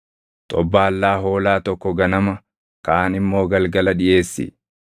Xobbaallaa hoolaa tokko ganama, kaan immoo galgala dhiʼeessi.